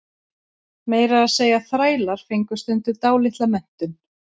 meira að segja þrælar fengu stundum dálitla menntun